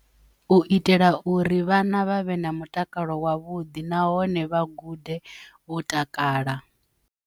U itela uri vhana vhavhe na mutakalo wavhuḓi nahone vha gude vho takala.